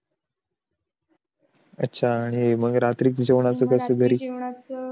अच्छा मग रात्री च जेवण च कास